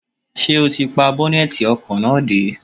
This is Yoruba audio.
Ṣé ó ti pa bọ́nẹ́tì ọkọ̀ náà dé?